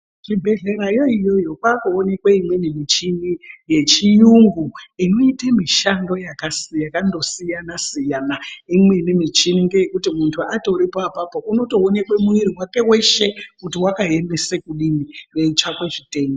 Kuzvibhedhlerayo iyoyo kwaakuonekwe imweni michini yechiyungu, inoite mishando yakasi yakandosiyana-siyana. Imweni michini ngeyekuti muntu atoripo apapo, unotoonekwe mwiri wake weshe ,kuti wakaemese kudini, kweitsvakwe zvitenda.